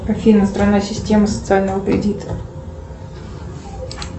афина страна системы социального кредита